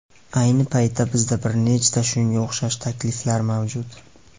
Ayni paytda bizda bir nechta shunga o‘xshash takliflar mavjud!